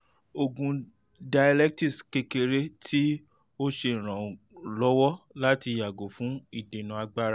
oògùn diuretics kekere ti o ṣe iranlọwọ lati yago fun idena agbara